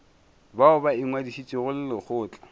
bao ba ingwadišitšego le lekgotla